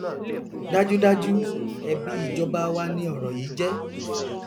dájúdájú ẹbi ìjọba wa ni ọrọ yìí jẹ